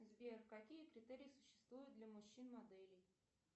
сбер какие критерии существуют для мужчин моделей